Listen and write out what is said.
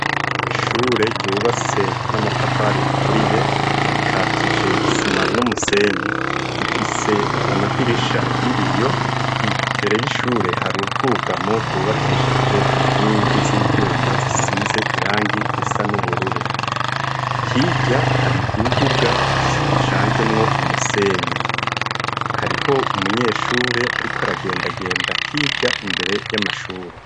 Ishure ryubatse n'amatafari aturiye ikatije isima n'umusenyi rifise amadirisha yibiyo imbere y'ishure hari ubwugamo bwubakishije inkingi z'ivyuma zisize irangi risa n'ubururu hirya hari imbuga ishae anjemwo umusenyi hariho umunyeshure, ariko aragendagenda hirya imbere y'amashure.